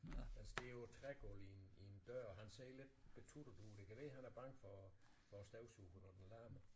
Den står på trægulvet i en i en dør han ser lidt betuttet ud det kan være han er bange for for støvsugeren når den larmer